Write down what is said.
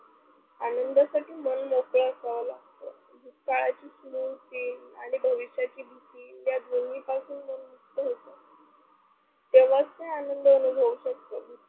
आनंदासाठी मन मोकळ असव लागत, भूतकळची स्मृति आणि भविष्याची भीती दोन्ही पासून मुक्त होतो, तेव्हाच की आनंद होऊ शकतो.